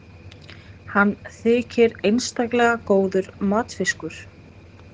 Hann þykir einstaklega góður matfiskur.